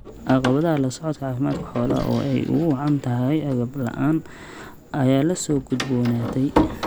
Caqabadaha la socodka caafimaadka xoolaha oo ay ugu wacan tahay agab la'aan ayaa la soo gudboonaatay.